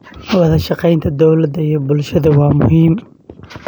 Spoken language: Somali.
Wadashaqeynta dowladda iyo bulshada waa muhiim.